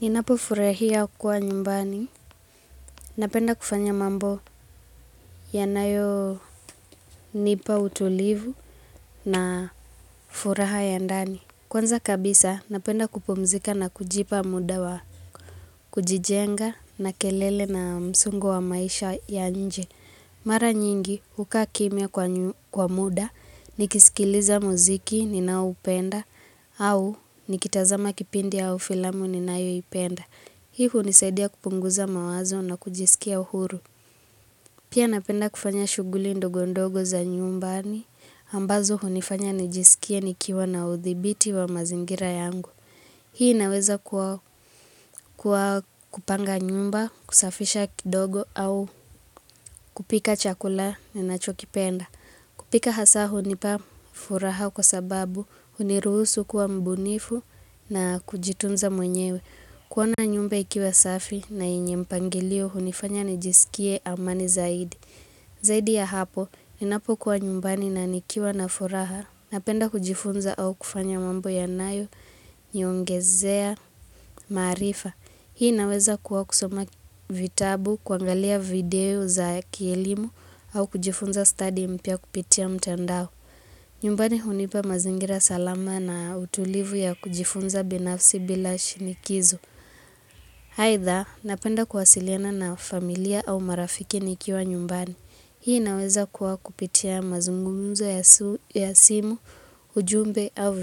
Ninapo furahia kwa nyumbani, napenda kufanya mambo yanayo nipa utulivu na furaha ya ndani. Kwanza kabisa, napenda kupumzika na kujipa muda wa kujijenga na kelele na msongo wa maisha ya nje. Mara nyingi, hukaa kimya kwa muda, nikisikiliza muziki, ninaupenda, au nikitazama kipindi au filamu, ninayoipenda. Hii hunisaidia kupunguza mawazo na kujisikia huru. Pia napenda kufanya shughuli ndogo ndogo za nyumbani, ambazo hunifanya nijisikie nikiwa na uthibiti wa mazingira yangu. Hii inaweza kuwa kupanga nyumba, kusafisha kidogo au kupika chakula ninacho kipenda. Kupika hasa hunipa furaha kwa sababu huniruhusu kuwa mbunifu na kujitunza mwenyewe. Kuona nyumba ikiwa safi na yenye mpangilio hunifanya nijisikie amani zaidi. Zaidi ya hapo, ninapo kuwa nyumbani na nikiwa na furaha, napenda kujifunza au kufanya mambo yanayo, niongezea, maarifa. Hii inaweza kuwa kusoma vitabu, kuangalia video za kielimu, au kujifunza stadi mpya kupitia mtandao. Nyumbani hunipa mazingira salama na utulivu ya kujifunza binafsi bila shinikizo. Aidha, napenda kuwasiliana na familia au marafiki nikiwa nyumbani. Hii inaweza kuwa kupitia mazungumuzo ya simu, ujumbe au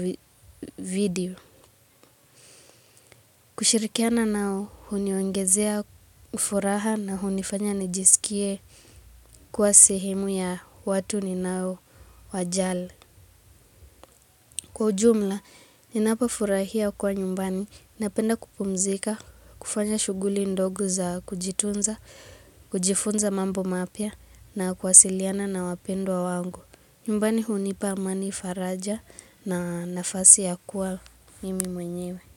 video. Kushirikiana nao, huniongezea furaha na hunifanya nijisikie kwa sehemu ya watu ninao wajali. Kwa ujumla, ninapo furahia kuwa nyumbani, napenda kupumzika, kufanya shughuli ndogo za kujitunza kujifunza mambo mapya na kuwasiliana na wapendwa wangu. Nyumbani hunipa amani faraja na nafasi ya kuwa mimi mwenyewe.